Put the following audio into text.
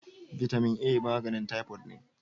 Bitamin A maganin typoid ne.